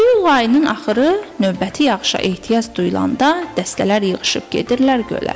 İyul ayının axırı növbəti yağışa ehtiyac duyulanda dəstələr yığışıb gedirlər gölə.